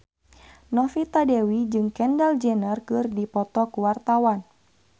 Novita Dewi jeung Kendall Jenner keur dipoto ku wartawan